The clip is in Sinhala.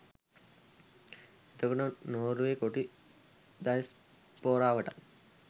එතකොට නොර්වේ කොටි දයස්පොරවටත්